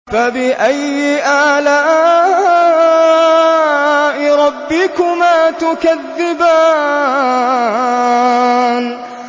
فَبِأَيِّ آلَاءِ رَبِّكُمَا تُكَذِّبَانِ